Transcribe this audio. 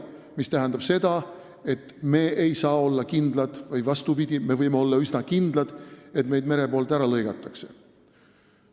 See tähendab seda, et me ei saa olla kindlad, õigemini vastupidi, me võime olla üsna kindlad, et meid mere poolt ära lõigatakse.